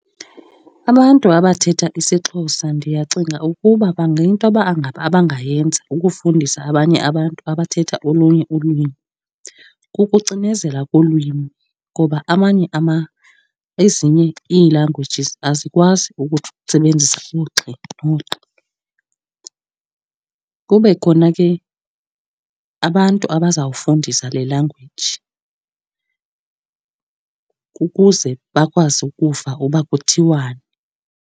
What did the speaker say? Abantu abathetha isiXhosa ndiyacinga ukuba into abangayenza ukufundisa abanye abantu abathetha olunye ulwimi kukucinezela kolwimi, ngoba amanye , ezinye ii-languages azikwazi ukusebenzisa ugxi nogqi. Kube khona ke abantu abazawufundisa le language ukuze bakwazi ukuva uba kuthiwani.